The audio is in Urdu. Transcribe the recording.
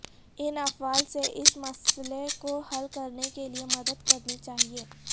ان افعال سے اس مسئلہ کو حل کرنے کے لئے مدد کرنی چاہئے